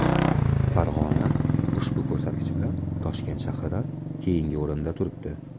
Farg‘ona ushbu ko‘rsatkich bilan Toshkent shahridan keyingi o‘rinda turibdi.